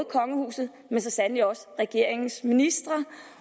kongehuset men så sandelig også regeringens ministre